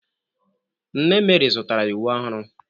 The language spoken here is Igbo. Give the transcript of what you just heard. Nne Meri zụtara ya uwe ọhụrụ